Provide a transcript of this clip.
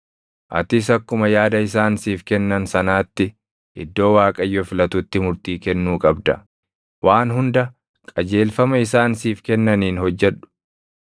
Atis akkuma yaada isaan siif kennan sanaatti iddoo Waaqayyo filatutti murtii kennuu qabda. Waan hunda qajeelfama isaan siif kennaniin hojjedhu.